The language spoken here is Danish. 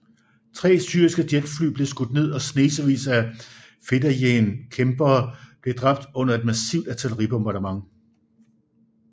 Tre syriske jetfly blev skudt ned og snesevis af fedayeen kæmpere blev dræbt under et massivt artilleribombardement